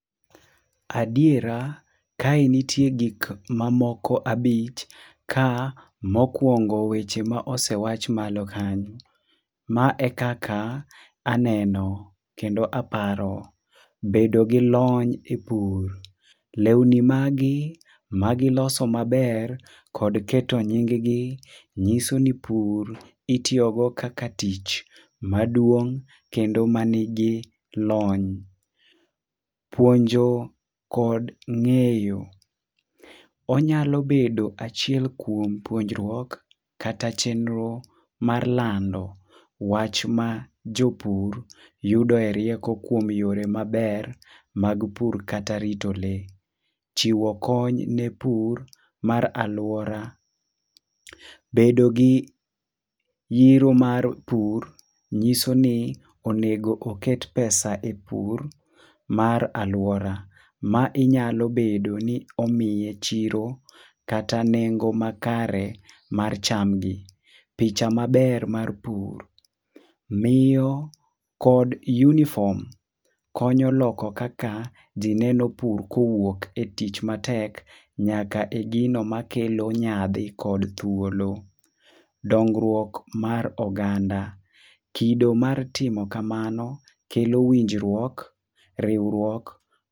Adiera, kae nitie gik mamoko abich, ka mokwongo weche ma osewach malo kanyo. Ma e kaka aneno kendo aparo. Bedo gi lony e pur: lewni magi magiloso maber kod keto nying gi nyiso ni pur itiyogo kaka tich maduong' kendo ma nigi lony. Puonjo kod ng'eyo: onyalo bedo achiel kuom puonjruok kata chenro mar lando wach ma jopur yudoe rieko kuom yore maber mag pur kata rito le. Chiwo kony ne pur mar alwora: bedo gi yiro mar pur nyiso ni onego oket pesa e pur mar alwora. Ma inyalobedo ni omiye chiro kata nengo makare mar chamgi. Picha maber mar pur: miyo kod yunifom konyo loko kaka ji neno pur kowuok e tich matek nyaka e gino makelo nyadhi kod thuolo. Domngruok mar oganda: kido mar timo kamano kelo winjruok, riwruok.